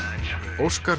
Óskar